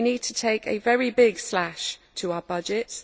We need to take a very big slash to our budgets.